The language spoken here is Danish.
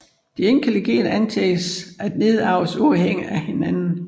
De enkelte gener antages at nedarves uafhængigt af hinanden